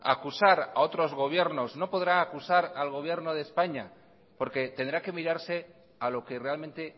acusar a otros gobiernos no podrá acusar al gobierno de españa porque tendrá que mirarse a lo que realmente